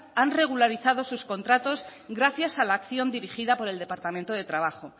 han regularizado sus contratos gracias a la acción dirigida por el departamento de trabajo